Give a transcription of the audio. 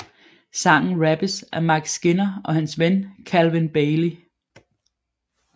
Sangen rappes af Mike Skinner og hans ven Calvin Bailey